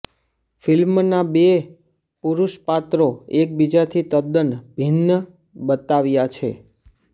ફિલ્મના બે પુરુષપાત્રો એકબીજાથી તદ્દન ભિન્ન બતાવ્યાં છે